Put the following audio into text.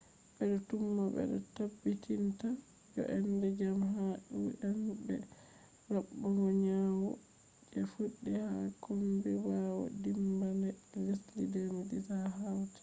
bedo tuma be tabbitinta jo’ende jam ha un be rabugo nyawu je fuddi ha kombi bawo dimmbande lesdi 2010,ha haiti